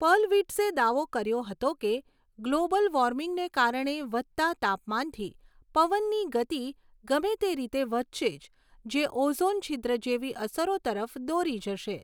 પર્લવિટ્ઝે દાવો કર્યો હતો કે ગ્લોબલ વોર્મિંગને કારણે વધતા તાપમાનથી પવનની ગતિ ગમે તે રીતે વધશે જ, જે ઓઝોન છિદ્ર જેવી અસરો તરફ દોરી જશે.